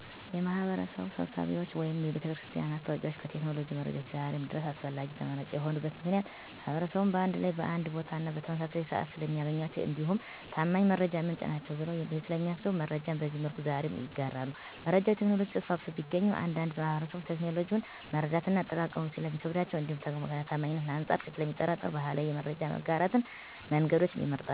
የማህበረሰብ ስብሰባዎች ወይም የቤተክርስቲያን ማስታወቂያዎች ከቴክኖሎጂ መረጃዎች ዛሬም ድረስ አስፈላጊና ተመራጭ የሆኑበት ምክንያት ማህበረሰቡን በአንድ ላይ በአንድ ቦታና በተመሳሳይ ስዓት ስለሚያገኟቸው እንዲሁም ታማኝ የመረጃ ምንጭ ናቸዉ ብለው ስለሚያስቡ መረጃን በዚህ መልኩ ዛሬም ይጋራሉ። መረጃ በቴክኖሎጂ ተስፋፍቶ ቢገኝም አንዳንድ ማህበረሰብ ቴክኖሎጂውን መረዳትና አጠቃቀሙ ስለሚከብዳቸው እንዲሁም ከታማኝነት አንፃር ስለሚጠራጠሩ ባህላዊ የመረጃ የማጋራት መንገዶችን ይመርጣሉ።